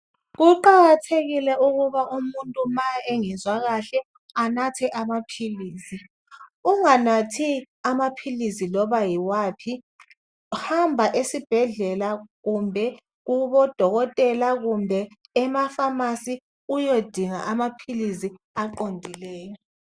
Kuqakathekile ukuba umuntu ma engezwa kahle anathe amaphilisi, unganathi amaphilisi loba yiwaphi, hamba esibhedlela kumbe kubodokotela kumbe ema pharmacy uyodinga amaphilisi aqondileyo